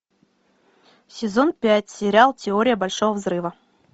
сезон пять сериал теория большого взрыва